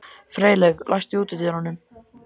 Freyleif, læstu útidyrunum.